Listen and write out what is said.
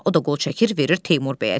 O da qol çəkir, verir Teymur bəyə.